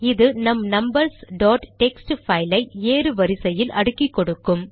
இது நம் numbers dot text file ஐ ஏறு வரிசையில் அடுக்கி கொடுக்கும்